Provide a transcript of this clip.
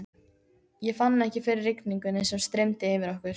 Ég fann ekki fyrir rigningunni sem streymdi yfir okkur.